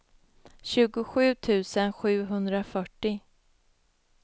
tjugosju tusen sjuhundrafyrtio